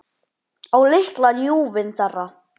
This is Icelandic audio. Á litla ljúfinn þeirra.